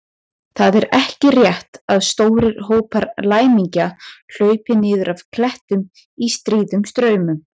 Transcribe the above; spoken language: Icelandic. Það er ekki rétt að stórir hópar læmingja hlaupi niður af klettum í stríðum straumum.